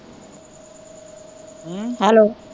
ਹਮ hello